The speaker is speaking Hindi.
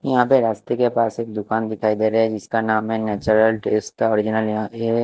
यहाँ पे रस्ते के पास एक सुकन दिखाई दे रहा है जिस का नेचुरल ट्विस्टर बोझनालय निवास ये--